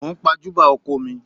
Mò ń pàjùbà oko mi